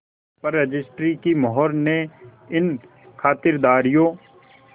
पर रजिस्ट्री की मोहर ने इन खातिरदारियों